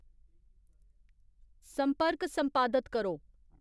संर्पक संपादत करो